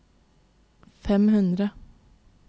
fem hundre